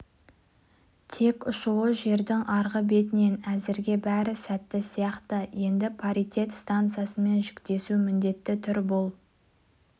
тек ұшуы жердің арғы бетінен әзірге бәрі сәтті сияқты енді паритет станциясымен жіктесу міндеті тұр бұл